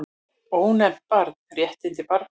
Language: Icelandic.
Ónefnt barn: Réttindi barna.